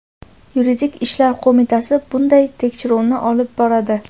yuridik ishlar qo‘mitasi bunday tekshiruvni olib boradi.